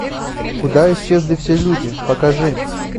куда исчезли все люди покажи